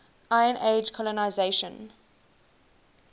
iron age colonisation